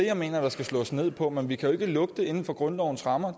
jeg mener der skal slås ned på men vi kan jo ikke lukke det inden for grundlovens rammer